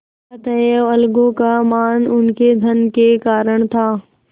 अतएव अलगू का मान उनके धन के कारण था